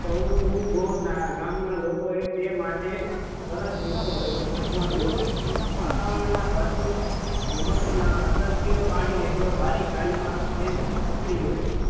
રામના લોકોએ તે માટે સરસ નુસખો અજમા આવ્યો છે વાતાવરણના ખર્ચમાં ધુમ્મસના અદ્રશ્ય પાણીને તેઓ બારીક જાળીમાં તેઓ પકડી લે છે.